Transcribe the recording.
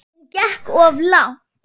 Hún gekk of langt.